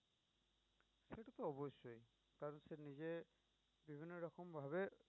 সেটাতো অবশ্যই কারন সে নিজে বিভিন্ন রকম ভাবে